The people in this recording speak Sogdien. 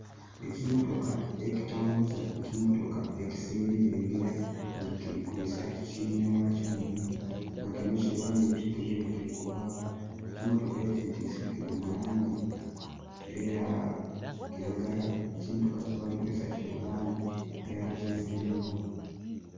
Ekimotoka ekitambuza ekimotoka ekisinira enjira nga kiri kwisa kinewakyo munjira nga kino kye wanike nga kire kirikuvaku. Ekimotoka ekyetiise kiri mulangi eya kiragala. Ekimotoka kyebali kwisa Kiri mulangi eya kyenvuyenvu